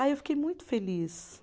Ah, eu fiquei muito feliz.